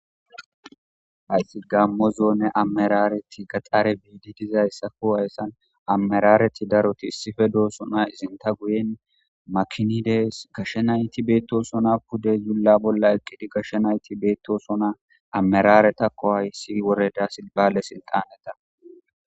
hayti gammo zoone ammerareti gaxaare biidi dizayssako hayssan ammerareti daroti issife doosona izinta guyen makinidees gashshenayti beetto sona pude zulla bolla eqqidi gashshe nayti beettosona ammerare takko hayssi woreda silbale sinxaneta